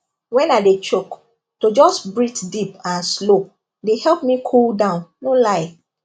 when i dey choke to just breathe deep and slow dey help me cool down no lie